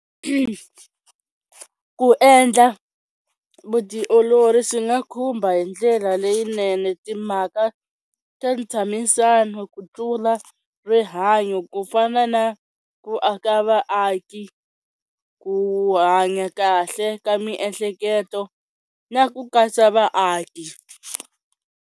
Ku endla vutiolori swi nga khumba hi ndlela leyinene timhaka ta ntshamisano ku tlula rihanyo ku fana na ku aka vaaki ku hanya kahle ka miehleketo na ku katsa vaaki.